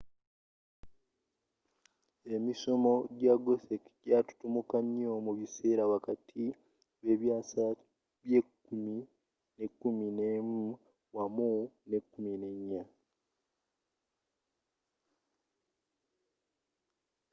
emisomo ja gothic jatutumuka nyoo mubiseera wakati w'ebyasa bye 10 ne 11 wamu ne 14